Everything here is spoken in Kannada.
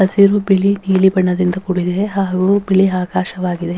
ಹಸಿರು ಬಿಳಿ ನೀಲಿ ಬಣ್ಣದಿಂದ ಕೂಡಿದೆ ಹಾಗು ಬಿಳಿ ಆಕಾಶವಾಗಿದೆ.